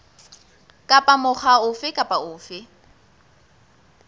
kapa mokga ofe kapa ofe